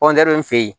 in fɛ yen